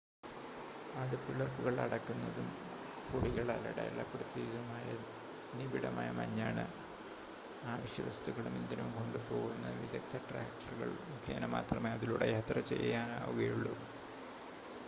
അത് പിളർപ്പുകൾ അടക്കുന്നതും കൊടികളാൽ അടയാളപ്പെടുത്തിയതുമായ നിബിഡമായ മഞ്ഞാണ് ആവശ്യവസ്തുക്കളും ഇന്ധനവും കൊണ്ടുപോവുന്ന വിദഗ്ദ്ധ ട്രാക്ടറുകൾ മുഖേന മാത്രമേ അതിലൂടെ യാത്ര ചെയ്യാനാവുകയുള്ളു